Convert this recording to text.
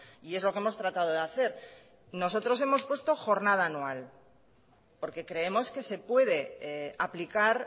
y es lo que hemos tratado de hacer nosotros hemos puesto jornada anual porque creemos que se puede aplicar